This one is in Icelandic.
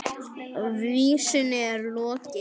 Vísunni er lokið.